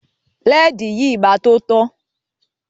Lẹ́ẹ́di yìí máa tó tán.